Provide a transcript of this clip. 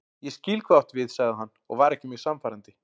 Ég skil hvað þú átt við sagði hann og var ekki mjög sannfærandi.